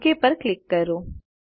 okay પર click કરો